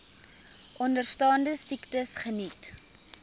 onderstaande siektes geniet